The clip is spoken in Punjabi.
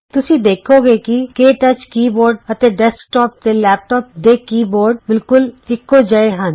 ਤੁਸੀਂ ਵੇਖੋਗੇ ਕਿ ਕੇ ਟੱਚ ਕੀ ਬੋਰਡ ਅਤੇ ਡੈਸਕਟੋਪ ਤੇ ਲੈਪਟੋਪ ਦੇ ਕੀ ਬੋਰਡ ਬਿਲਕੁਲ ਇਕੋ ਜਿਹੇ ਹਨ